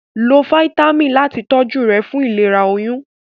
Lo fáítámà ìtọjú rẹ fún ìlera oyún